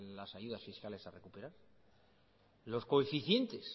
las ayudas fiscales a recuperar los coeficientes